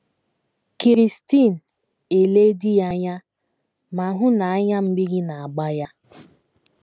Kirsten elee di ya anya ma hụ na anya mmiri na - agba ya.